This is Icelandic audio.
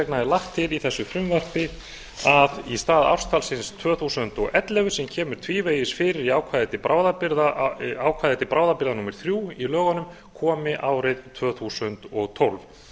vegna er lagt til í þessu frumvarpi að í stað ártalsins tvö þúsund og ellefu sem kemur tvívegis fyrir í ákvæði til bráðabirgða númer þrjú í lögunum komi árið tvö þúsund og tólf